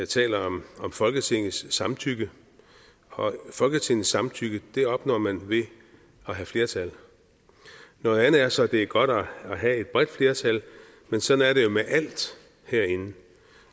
taler om folketingets samtykke og folketingets samtykke opnår man ved at have flertal noget andet er så at det er godt at have et bredt flertal men sådan er det jo med alt herinde